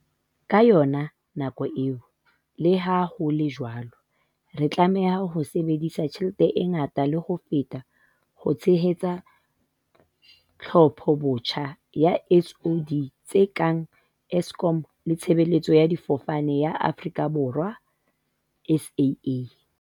Ka yona nako eo, leha ho le jwalo, re tla tlameha ho sebedisa tjhelete e ngata le ho feta ho tshehetsa tlhophobotjha ya di-SOE tse kang Eskom le Tshebeletso ya Difofane ya Aforika Borwa, SAA,